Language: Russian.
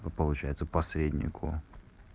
по получается посреднику